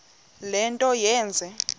le nto yenze